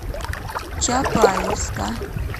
чапаевска